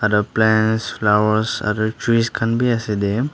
plants flowers aro trees khan bhi ase dae.